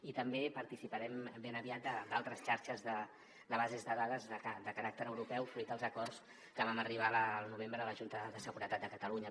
i també participarem ben aviat d’altres xarxes de bases de dades de caràcter europeu fruit dels acords a què vam arribar al novembre a la junta de seguretat de catalunya